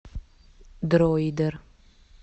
дройдер